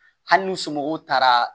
Hali n'u somɔgɔw taara